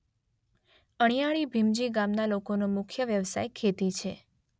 અણીયાળી ભીમજી ગામના લોકોનો મુખ્ય વ્યવસાય ખેતી છે.